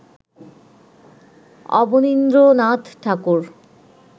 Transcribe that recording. Abanindranath Thakur